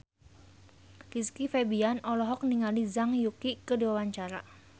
Rizky Febian olohok ningali Zhang Yuqi keur diwawancara